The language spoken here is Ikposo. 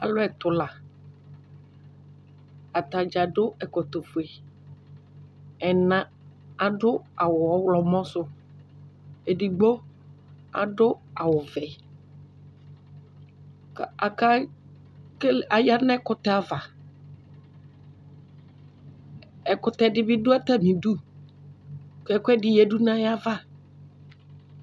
Alʋ ɛtʋ la atadza adʋ ɛkɔtɔfue ɛna adʋ awʋ ɔwlɔmɔ sʋ edigbo adʋ awʋvɛ ayanʋ ɛkʋtɛ ava ɛkʋtɛ dibi dʋ atami idʋ kʋ ɛkʋɛdi yadʋ nʋ ayava